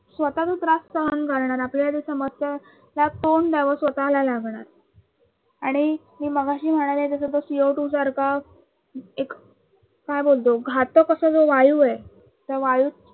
स्वतः तो त्रास सहन करणार आपल्याला त्या समस्याला तोंड द्याव स्वतःला लागणार आणि मी मगाशी म्हणाले तसे तो Co two सारखा एक काय म्हणतो घातक असा जो वायू आहे त्या वायूत